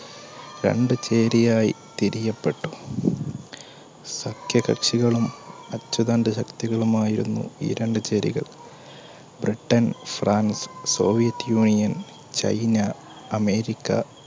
രണ്ട് ചേരിയായി തിരിയപ്പെട്ടു. സഖ്യകക്ഷികളുംഅച്ചുതണ്ട് ശക്തികളുമായിരുന്നു ഈ രണ്ടു ചേരികൾ ബ്രിട്ടൻ, ഫ്രാൻസ്, സ്സോവിയറ്റ് യൂണിയൻചൈനഅമേരിക്ക